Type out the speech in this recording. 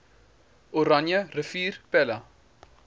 oranje rivier pella